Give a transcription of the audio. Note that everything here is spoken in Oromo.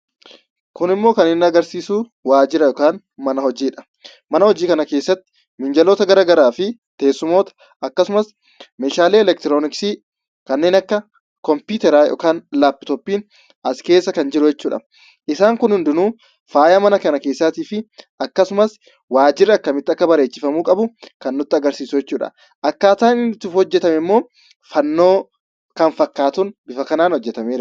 Kunimmoo kan inni agarsiisu waajjira yookaan mana hojiidha. Mana hojii kana keessatti miinjaloota garaagaraa fi teessumoota akkasumas meeshaalee elektirooniksii kanneen akka kompiitaraa yookaan laappitooppiin as keessa kan jiru jechuudha. Isaan kun hundinuu faayaa mana kana keessaatiif akkasumas waajirri akkamitti akka bareechifamuu qabu kan nutti agarsiisu jechuudha. Akkaataan inni itti hojjatame immoo fannoo kan fakkaatuun bifa kanaan hojjatameera.